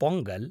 Pongal